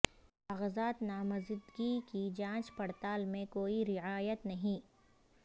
کاغذات نامزدگی کی جانچ پڑتال میں کوئی رعایت نہیں